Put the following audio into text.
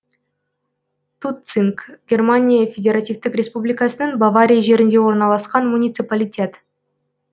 тутцинг германия федеративтік республикасының бавария жерінде орналасқан муниципалитет